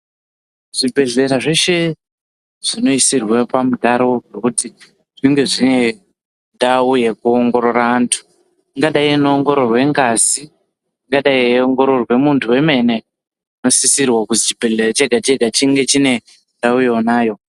Zvibhedhlera zveshe zvinoisirwe pamutaro wekuti zvinge zviine ndao yekuongorora antu angadai eiongororwa ngazi angadai eiongororwa muntu wemene zvinosisirwa kuti chibhedhlera chinge chiibe ndao iyoyo.